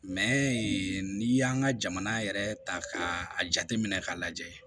n'i y'an ka jamana yɛrɛ ta k'a jate minɛ k'a lajɛ